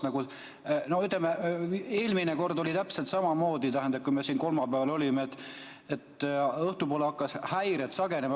Eelmine kord oli täpselt samamoodi, kui me siin kolmapäeval olime, õhtupoole hakkasid häired sagenema.